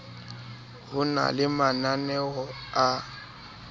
ho na le mananeo a